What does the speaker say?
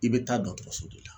I bɛ taa dɔgɔtɔrɔso de la